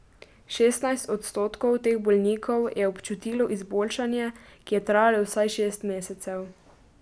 Šestnajst odstotkov teh bolnikov je občutilo izboljšanje, ki je trajalo vsaj šest mesecev.